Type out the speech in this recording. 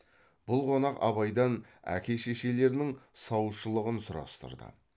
бұл қонақ абайдан әке шешелерінің саушылығын сұрастырды